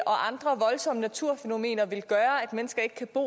og andre voldsomme naturfænomener vil gøre at mennesker ikke kan bo